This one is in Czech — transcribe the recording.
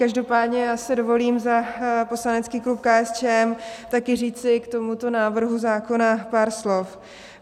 Každopádně já si dovolím za poslanecký klub KSČM taky říci k tomuto návrhu zákona pár slov.